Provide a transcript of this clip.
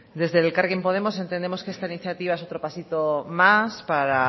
desde el elkarrekin podemos entendemos que esta iniciativa es otro pasito más para